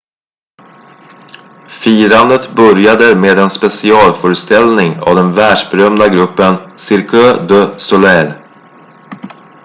firandet började med en specialföreställning av den världsberömda gruppen cirque du soleil